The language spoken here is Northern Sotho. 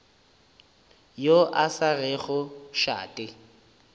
yo a sa rego šate